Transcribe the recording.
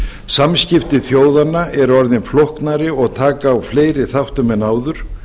samskipti þjóðanna eru orðin flóknari og taka á fleiri þáttum en áður